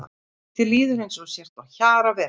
Þér líður eins og þú sért á hjara veraldar.